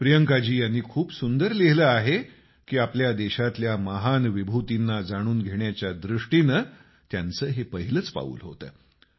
प्रियंकाजी यांनी खूप सुंदर लिहिलं आहे की आपल्या देशातल्या महान विभूतींना जाणून घेण्याच्या दृष्टिनं त्यांचं हे पहिलंच पाऊल होतं